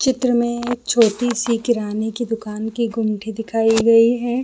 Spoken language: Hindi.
चित्र मै एक छोटी सी किराने कि दुकान कि गुमटी दिखाई गई है।